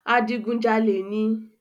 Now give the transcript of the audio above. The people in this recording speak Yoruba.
Adigun jalè níí